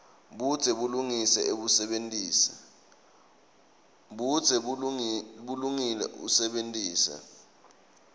budze bulungile usebentise